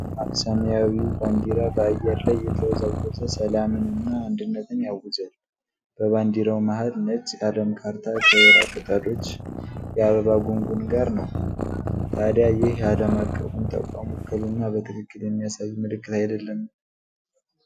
ደማቅ ሰማያዊው ባንዲራ በአየር ላይ እየተወዛወዘ ሰላምንና አንድነትን ያውጃል። በባንዲራው መሃል ነጭ የአለም ካርታ ከወይራ ቅጠሎች የአበባ ጉንጉን ጋር ነው። ታዲያ ይህ የዓለም አቀፉን ተቋም ውክልና በትክክል የሚያሳይ ምልክት አይደለምን?